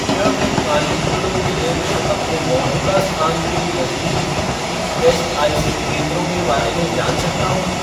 क्या मैं कांचीपुरम जिला में अपने मौजूदा स्थान के नज़दीकी ईएसआईसी केंद्रों के बारे में जान सकता हूँ?